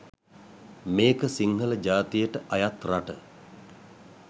මේ ක සිංහල ජාතියට අයත් රට